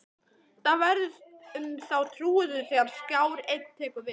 Hvað verður um þá trúuðu þegar Skjár Einn tekur við?